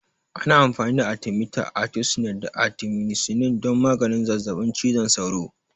Ana amfani da Atimita, atisunet, da atimisinin don maganin zazzaɓin cizon sauro.